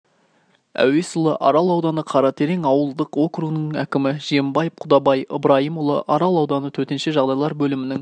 әуесұлы арал ауданы қаратерең ауылдық округінің әкімі жиенбаев құдабай ыбрайымұлы арал ауданы төтенше жағдайлар бөлімінің